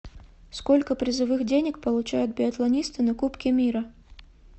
сколько призовых денег получают биатлонисты на кубке мира